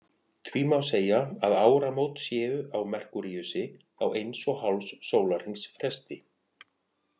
Því má segja að áramót séu á Merkúríusi á eins og hálfs sólarhrings fresti.